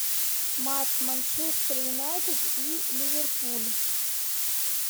матч манчестер юнайтед и ливерпуль